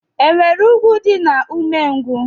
E nwere ùgwù dị na umengwu?